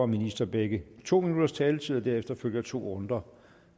minister begge har to minutters taletid og derefter følger to runder